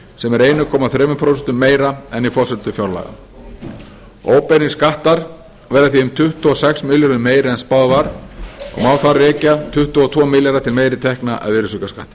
sem er einn komma þrjú prósent meira en í forsendum fjárlaga óbeinir skattar verða því um tuttugu og sex milljörðum meiri en spáð var og má þar rekja tuttugu og tvo milljarða til meiri tekna af virðisaukaskatti